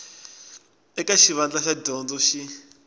eka xivandla xa dyondzo xin